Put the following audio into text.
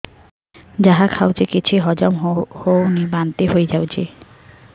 ଯାହା ଖାଉଛି କିଛି ହଜମ ହେଉନି ବାନ୍ତି ହୋଇଯାଉଛି